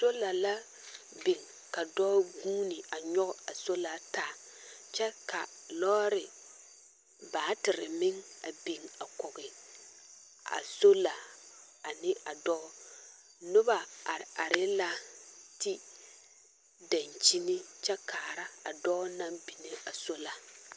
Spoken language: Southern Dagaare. Sola biŋ ka dͻͻ guuni a nyͻge a sola taa, kyԑ ka lͻͻre meŋ batere meŋ a biŋ a kͻge a sola ane a dͻͻ. noba are are la te daŋkyini kyԑ kaara a dͻͻ naŋ binni a sola.